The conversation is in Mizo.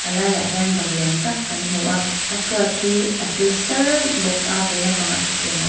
a laiah hian ban lian tak kan hmu a a chhuat hii a tle sâr bawk a vei lampangah thutthleng a awm--